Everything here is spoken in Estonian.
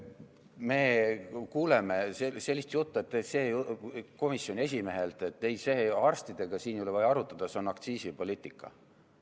Me kuuleme sellist juttu komisjoni esimehelt, et ei, arstidega siin ei ole vaja arutada, see on aktsiisipoliitika.